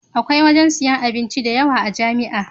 Akwai wajan siyan abinci da yawa a jamia